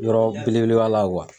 Yɔrɔ belebele ba la